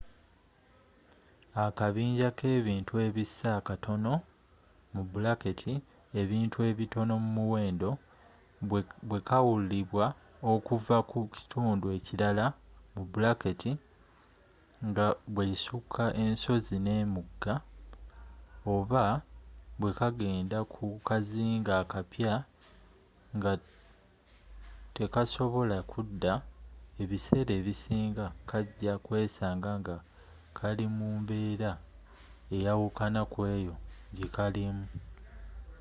akabinja kebintu ebissa akatonoebintu ebitono mu muwendo bwekaawulibwa okuva ku kituundu ekirala nga bwesuka ensozi nemigga oba bwekagenda ku kazinga akapya nga tekasobola kuddaebiseera ebisinga kaja kwesaanga nga kali mumbeera eyawukana kweeyo gyekaalimu